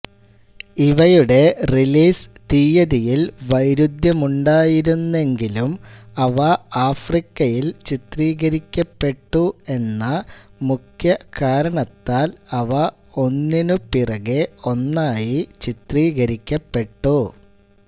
ഇവയുടെ റിലീസ് തീയതിയിൽ വൈരുദ്ധ്യമുണ്ടായിരുന്നെങ്കിലും അവ ആഫ്രിക്കയിൽ ചിത്രീകരിക്കപ്പെട്ടു എന്ന മുഖ്യ കാരണത്താൽ അവ ഒന്നിനു പുറകേ ഒന്നായി ചിത്രീകരിക്കപ്പെട്ടു